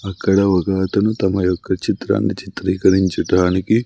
అక్కడ ఒక అతను తమ యొక్క చిత్రాన్ని చిత్రీకరించటానికి--